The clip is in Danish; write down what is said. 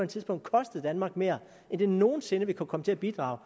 tidspunkt kostet danmark mere end det nogen sinde vil kunne komme til at bidrage